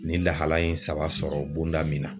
Ni lahala in saba bonda min na